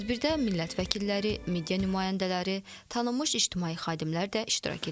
Tədbirdə millət vəkilləri, media nümayəndələri, tanınmış ictimai xadimlər də iştirak ediblər.